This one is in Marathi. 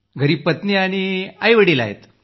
घरी पत्नी आणि मातापिता आहेत